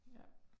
Ja